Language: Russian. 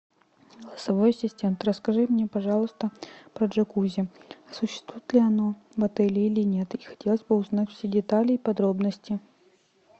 голосовой ассистент расскажи мне пожалуйста про джакузи существует ли оно в отеле или нет и хотелось бы узнать все детали и подробности